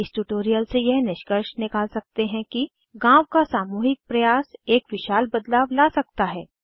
इस ट्यूटोरियल से यह निष्कर्ष निकाल सकते हैं कि गाँव का सामूहिक प्रयास एक विशाल बदलाव ला सकता है